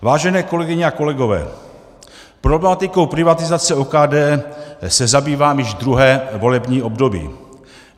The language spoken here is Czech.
Vážené kolegyně a kolegové, problematikou privatizace OKD se zabývám již druhé volební období.